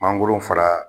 Mangoro fara